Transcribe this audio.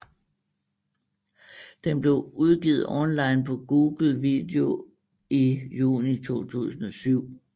Den blev udgivet online på Google Video i juni 2007